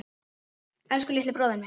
Elsku litli bróðir minn.